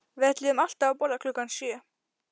Við ætluðum alltaf að borða klukkan sjö